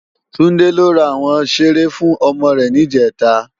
Tunde lò rá áwòn ṣéré fún òmò rè nijètá